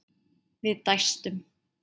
Við dæstum.